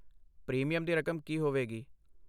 Premium ਦੀ ਰਕਮ ਕੀ ਹੋਵੇਗੀ?